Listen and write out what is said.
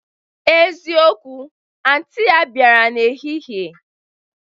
Ezikowu, anti ya bịara n'ehihie